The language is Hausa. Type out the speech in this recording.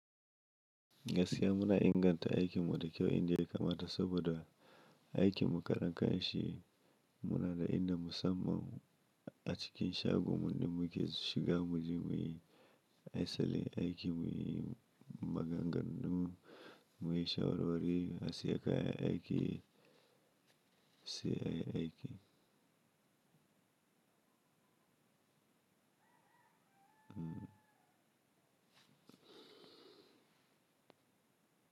Gaskiya muna inganta aikin mu da kyau inda yake kamata saboda- aikin mu karan kanshi muna da inda musamman a cikin shagon mu da muke shiga mu je muyi- asalin aiki, mu yi maganganu, mu yi shawarwari, a siya kayan aiki, sai ayi aiki.